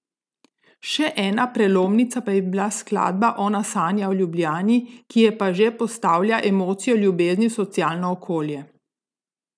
Še ena prelomnica pa je bila skladba Ona sanja o Ljubljani, ki je pa že postavlja emocijo ljubezni v socialno okolje.